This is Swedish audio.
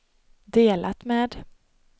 delat med